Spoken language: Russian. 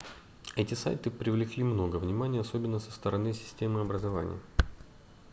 эти сайты привлекли много внимания особенно со стороны системы образования